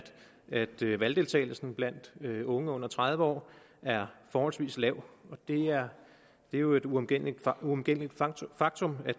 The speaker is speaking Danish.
at valgdeltagelsen blandt unge under tredive år er forholdsvis lav det er jo et uomgængeligt uomgængeligt faktum at